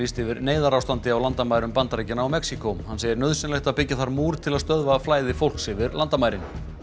yfir neyðarástandi á landamærum Bandaríkjanna og Mexíkó hann segir nauðsynlegt að byggja þar múr til að stöðva flæði fólks yfir landamærin